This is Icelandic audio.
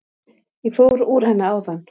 Ég fór úr henni áðan.